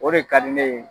O de ka di ne ye